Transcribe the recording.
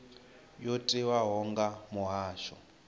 yo tiwaho nga vha muhasho